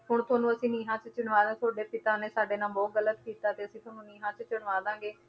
ਹੁਣ ਤੁਹਾਨੂੰ ਅਸੀਂ ਨੀਹਾਂ 'ਚ ਚਿਣਵਾ ਦਾ, ਤੁਹਾਡੇ ਪਿਤਾ ਨੇ ਸਾਡੇ ਨਾਲ ਬਹੁਤ ਗ਼ਲਤ ਕੀਤਾ ਤੇ ਅਸੀਂ ਤੁਹਾਨੂੰ ਨੀਹਾਂ 'ਚ ਚਿਣਵਾ ਦਵਾਂਗੇ,